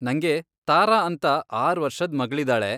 ನಂಗೆ ತಾರಾ ಅಂತ ಆರ್ ವರ್ಷದ್ ಮಗ್ಳಿದಾಳೆ.